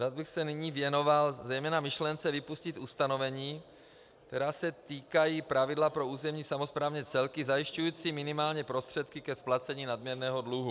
Rád bych se nyní věnoval zejména myšlence vypustit ustanovení, která se týkají pravidla pro územní samosprávné celky zajišťující minimální prostředky ke splacení nadměrného dluhu.